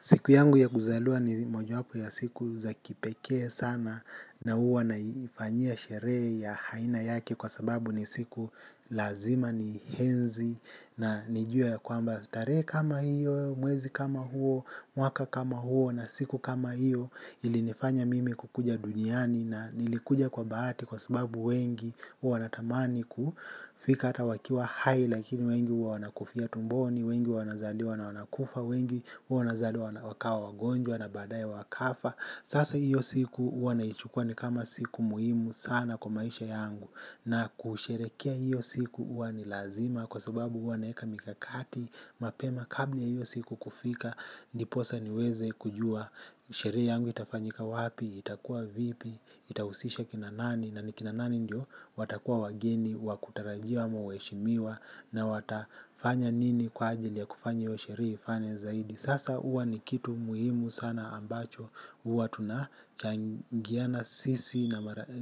Siku yangu ya kuzaliwa ni mojawapo ya siku za kipekee sana na uwa naifanyia sherehe ya haina yake kwa sababu ni siku lazima ni henzi na nijue ya kwamba tare kama hiyo, mwezi kama huo, mwaka kama huo na siku kama hiyo ilinifanya mimi kukuja duniani na nilikuja kwa baati kwa sababu wengi huwa wanatamani kufika ata wakiwa hai lakini wengi huwa wanakufia tumboni wengi huwa wanazaliwa na wanakufa wengi huwa wanazaliwa wakawa wagonjwa na baadae wakafa sasa hiyo siku huwa naichukua kama siku muhimu sana kwa maisha yangu. Na kusherekea iyo siku uwa ni lazima. Kwa sababu uwa naeka mikakati mapema kabla ya iyo siku kufika. Ndiposa niweze kujua sheree yangu itafanyika wapi. Itakuwa vipi, itausisha kinanani. Na nikinanani ndio watakuwa wageni, wakutarajia ama waeshimiwa na watafanya nini kwa ajili ya kufanya iyo sheree ifane zaidi. Sasa uwa ni kitu muhimu sana ambacho huwa tunachangiana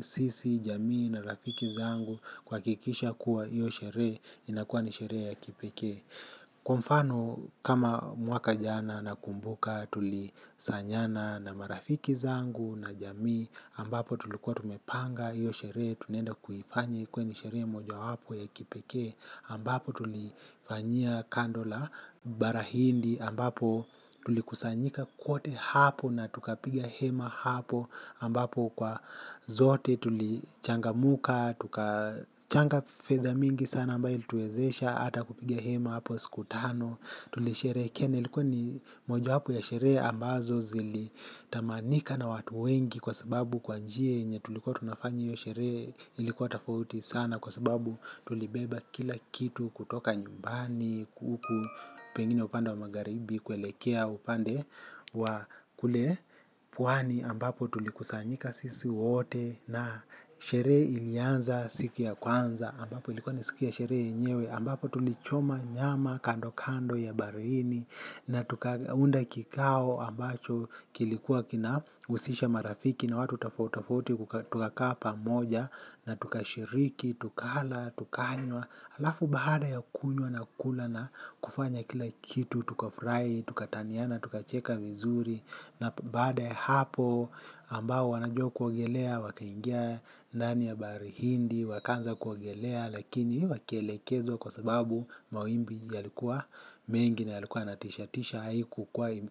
sisi jamii na rafiki yangu kuhakikisha kuwa io sheree inakuwa ni sheree ya kipekee. Kwa mfano kama mwaka jana na kumbuka tulisanyana na marafiki zangu na jamii ambapo tulikuwa tumepanga iyo sheree tunaenda kuhifanya ikuwe ni sheree moja wapo ya kipekee ambapo tulifanyia kandola barahindi ambapo tulikusanyika kwote hapo na tukapiga hema hapo ambapo kwa zote tulichanga muka tukachanga fedha mingi sana ambayo ilituwezesha ata kupiga hema hapo sikutano. Tuli sherekea na ilikuwa ni moja wapo ya sheree ambazo zili tamanika na watu wengi kwa sababu kwa njia yenye tulikuwa tunafanya iyo sheree ilikuwa tafauti sana kwa sababu tulibeba kila kitu kutoka nyumbani kuku pengine upande wa magharibi kuelekea upande wa kule pwani ambapo tulikusanyika sisi wote na sheree ilianza siki ya kwanza ambapo ilikuwa ni siki ya shere yenyewe ambapo tulichoma nyama kando kando ya barini na tuka unda kikao ambacho kilikuwa kina usisha marafiki na watu tafautatafauti tukakaa pamoja na tuka shiriki, tukala, tukanywa, alafu baada ya kunywa na kula na kufanya kila kitu, tuka furai, tuka taniana, tuka cheka vizuri na baada ya hapo ambao wanajua kuogelea waka ingia ndani ya bahari hindi, wakaanza kuogelea lakini wakielekezwa kwa sababu mawimbi yalikuwa mengi na yalikuwa yanatishatisha haiku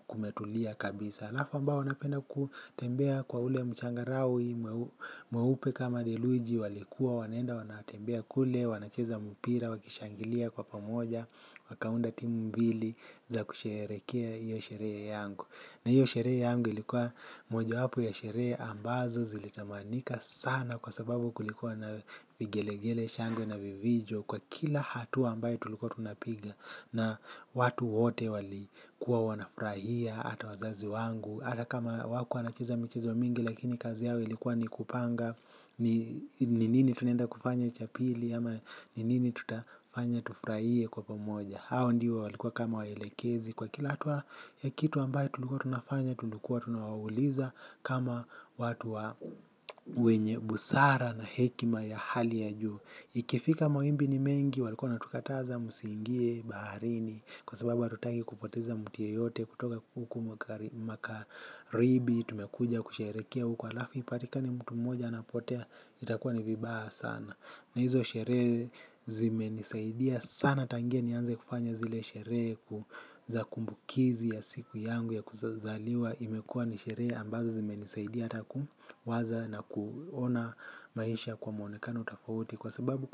kumetulia kabisa alafu ambao wanapenda kutembea kwa ule mchangarawe mwepe kama deluji walikuwa wanaenda wanatembea kule wanacheza mpira wakishangilia kwa pamoja wakaunda timu mbili za kusherekea iyo sheree yangu na iyo sheree yangu ilikuwa moja wapo ya sheree ambazo zilitamanika sana kwa sababu kulikuwa na vigelegele shangwe na vivijo. Kwa kila hatua ambaye tulikuwa tunapiga na watu wote wali kuwa wanafurahia. Ata wazazi wangu, ata kama wakuwa wanacheza michezo mingi lakini kazi yao ilikuwa ni kupanga. Ni nini tunaenda kufanya cha pili ama ni nini tutafanya tufuraie kwa pomoja. Hao ndiyo walikuwa kama waelekezi kwa kila hatua ya kitu ambaye tulikuwa tunafanya. Tulikuwa tunawauliza kama watu wa wenye busara na hekima ya hali ya juu. Ikifika mawimbini mengi walikona tukataza musingie baharini kwa sababu hatutaki kupoteza muti yeyote kutoka huku makaribi tumekuja kusherekea huku alafu ipatikane mtu moja anapotea itakuwa ni vibaya sana. Na hizo sheree zime nisaidia sana tangia ni anze kufanya zile sheree ku za kumbukizi ya siku yangu ya kuzaliwa imekua ni sheree ambazo zime nisaidia ataku waza na kuona maisha kwa muonekano tafauti. Kwa sababu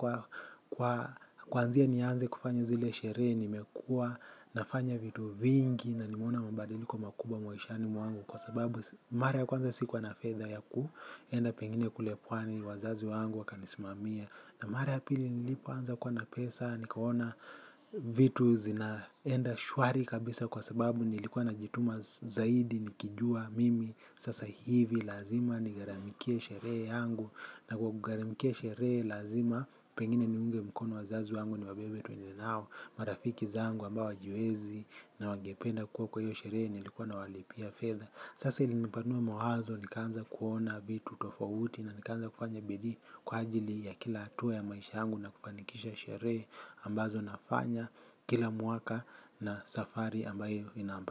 kwa kwanzia nianze kufanya zile shere ni mekua nafanya vitu vingi na nimeona mabadiliko makubwa mwishani mwangu kwa sababu mara ya kwanza sikuwa na fedha ya kuenda pengine kulepwani wazazi wangu wakanismamia na mara ya pili nilipo anza kuwa na pesa nikaona vitu zinaenda shwari kabisa kwa sababu nilikuwa na jituma zaidi nikijua mimi. Sasa hivi lazima ni garamikie sheree yangu. Na kwa garamikia sheree lazima. Pengine ni unge mkono wazazu yangu ni wabebe tuendenao. Marafiki zangu ambao wajiwezi na wangependa kuwa kwa hiyo sheree nilikuwa na walipia fedha. Sasa ilinipanua mawazo ni kanza kuona vitu tofauti. Na ni kanza kufanya bidii kwa ajili ya kila atuwa ya maisha yangu na kufanikisha sheree ambazo nafanya. Kila mwaka na safari ambayo inamba.